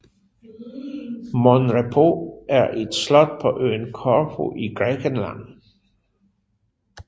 Mon Repos er et slot på øen Korfu i Grækenland